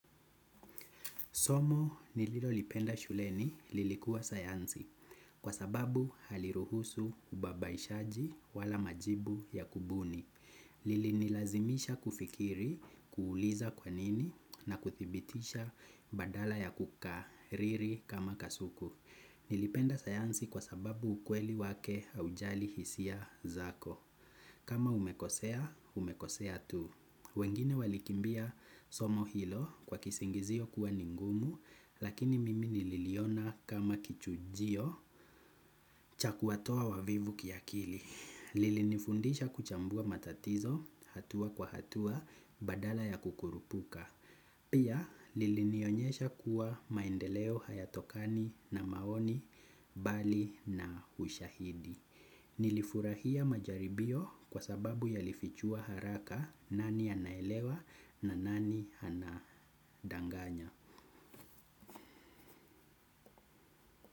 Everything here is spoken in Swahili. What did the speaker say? Somo nililo lipenda shuleni lilikuwa sayansi kwa sababu haliruhusu ubabaishaji wala majibu ya kubuni. Lili nilazimisha kufikiri kuuliza kwa nini na kuthibitisha badala ya kuka riri kama kasuku. Nilipenda sayansi kwa sababu ukweli wake haujali hisia zako. Kama umekosea, umekosea tu. Wengine walikimbia somo hilo kwa kisingizio kuwa ni ngumu lakini mimi nililiona kama kichujio cha kuwatoa wavivu kiakili. Lilinifundisha kuchambua matatizo hatua kwa hatua badala ya kukurupuka. Pia lilinionyesha kuwa maendeleo hayatokani na maoni bali na ushahidi. Nilifurahia majaribio kwa sababu yalifichua haraka nani anaelewa na nani anadanganya.